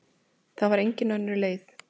Það var engin önnur leið.